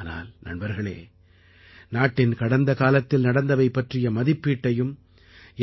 ஆனால் நண்பர்களே நாட்டின் கடந்த காலத்தில் நடந்தவை பற்றிய மதிப்பீட்டையும்